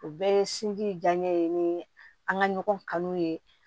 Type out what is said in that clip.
O bɛɛ ye sinji diyaɲɛ ye ni an ka ɲɔgɔn kanu ye